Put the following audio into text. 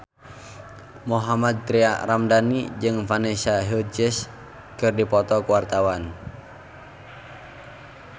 Mohammad Tria Ramadhani jeung Vanessa Hudgens keur dipoto ku wartawan